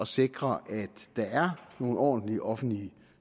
sikre at der er nogle ordentlige offentlige